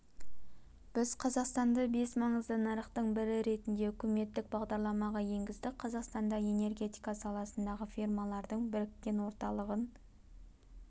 біз қазақстанды бес маңызды нарықтың бірі ретінде үкіметтік бағдарламаға енгіздік қазақстанда энергетика саласындағы фирмалардың біріккен орталығын